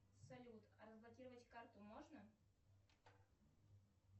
салют а разблокировать карту можно